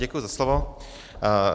Děkuji za slovo.